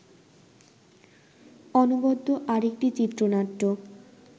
অনবদ্য আরেকটি চিত্রনাট্য